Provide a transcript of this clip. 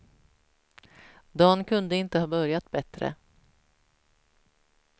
Dan kunde inte ha börjat bättre.